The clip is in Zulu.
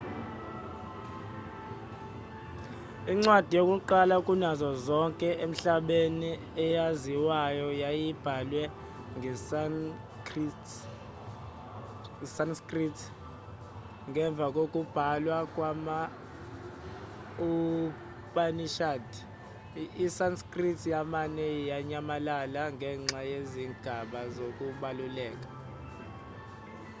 incwadi yakuqala kunazo zonke emhlabeni eyaziwayo yayibhalwe ngesanskrit ngemva kokubhalwa kwama-upanishad isanskrit yamane yanyamalala ngenxa yezigaba zokubaluleka